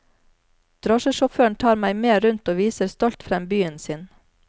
Drosjesjåføren tar meg med rundt og viser stolt frem byen sin.